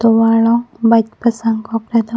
tovar long bike pasang kok ta do.